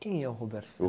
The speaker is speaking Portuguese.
Quem é o Roberto Ferraz?